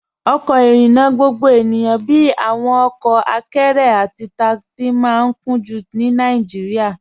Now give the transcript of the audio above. Ọkọ irinna gbogbo ènìyàn bíi awọn ọkọ àkẹ̀rẹ̀ àti takisi maa n kùn-jú ní Nàìjíríà.